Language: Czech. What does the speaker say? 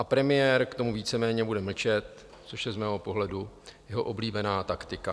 A premiér k tomu víceméně bude mlčet, což je z mého pohledu jeho oblíbená taktika.